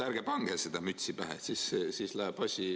Ärge pange seda mütsi pähe, siis läheb asi ...